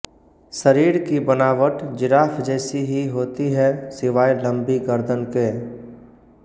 शरीर की बनावट जिराफ़ जैसी ही होती है सिवाय लंबी गर्दन के